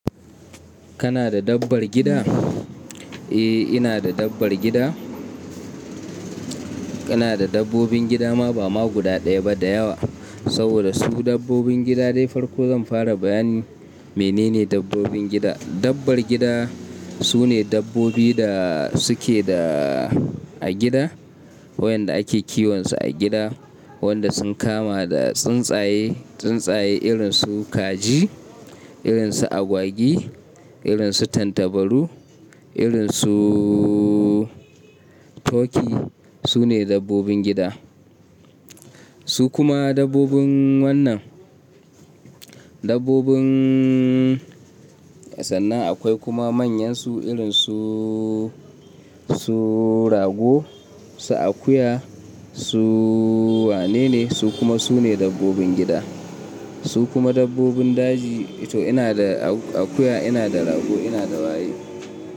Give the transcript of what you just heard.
Kana da dabbar gida? Eh, ina da dabbar gida. Kana da dabbobin gida ma ba ma guda ɗaya ba da yawa. Saboda su dabbobin gida dai farko zan fara bayanin menene dabbobin gida. Dabbar gida su ne dabbobi da suke da a gida wayanda ake kiwon su a gida, wanda sun kama da tsuntsaye, tsuntsaye irin su kaji, irin su agwagi, irin su tattabaru, irin su turkey. Su ne dabbobin gida. Su kuma dabbobin wannan dabbobin sannan akwai kuma manyan su irin su, su rago, su akuya, su wane ne su kuma su ne dabbobin gida. Su kuma dabbobin daji. To ina da akuya, ina da rago, ina da waye.